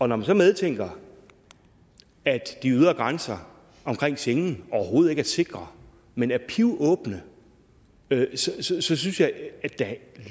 når man så medtænker at de ydre grænser omkring schengenlandene overhovedet ikke er sikre men er pivåbne så synes jeg synes jeg at det